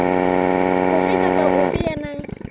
ofe kapa ofe ya nang